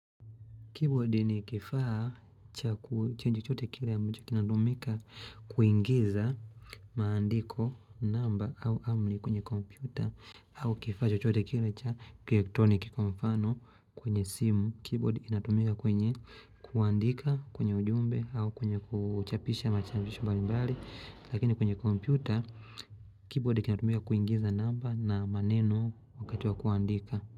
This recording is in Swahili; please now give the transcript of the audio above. Keyboard ni kifaa cha chochote kile kinacho kinatumika kuingiza maandiko namba au amri kwenye kompyuta. Au kifaa chochote kile cha kielekitroniki kwa mfano kwenye simu. Keyboard kinatumika kwenye kuandika kwenye ujumbe au kwenye kuchapisha machapisho mbali mbali. Lakini kwenye kompyuta keyboard kinatumika kuingiza namba na maneno wakati wa kuandika.